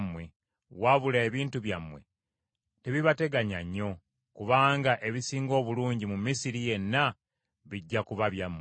Wabula ebintu byammwe tebibateganya nnyo, kubanga ebisinga obulungi mu Misiri yenna bijja kuba byammwe.”